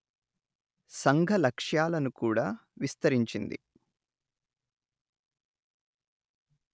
సంఘ లక్ష్యాలను కూడా విస్తరించింది